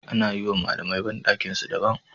Ana yiwa malamai bandakinsu da ban